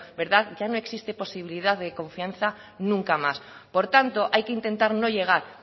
ya no existe posibilidad de confianza nunca más por tanto hay que intentar no llegar